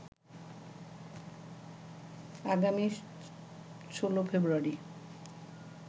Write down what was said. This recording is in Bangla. আগামী ১৬ ফেব্রুয়ারি